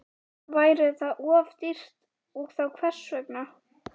Væri það of dýrt og þá hvers vegna?